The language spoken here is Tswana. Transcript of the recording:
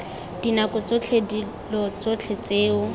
dinako tsotlhe dilo tsotlhe tseo